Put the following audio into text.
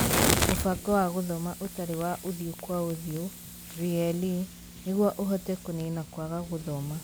Mũbango wa gũthoma ũtarĩ wa ũthũ kwa ũthiũ (VLE) nĩguo ũhote kũniina kwaga gũthoma.